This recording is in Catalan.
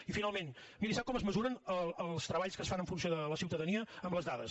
i finalment miri sap com es mesuren els treballs que es fan en funció de la ciutadania amb les dades